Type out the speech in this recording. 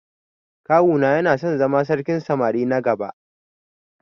Kawu na yana son zama sarkin samari na gaba.